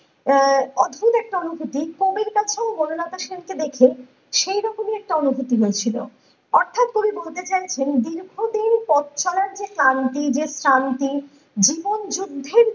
আহ অদ্ভুত একটা অনুভূতি ।কবির কাছে বনলতা সেনকে দেখে সেই রকমের একটা অনভূতি হয়েছিল অর্থাৎ কবি বলতে চান দীর্ঘদিনের পথ চলার যে কারন তিনি যে শান্তি জীবন যুধ্যে